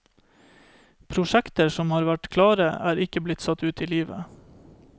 Prosjekter som har vært klare, er ikke blitt satt ut i livet.